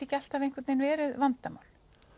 ekki alltaf einhvern vegin verið vandamál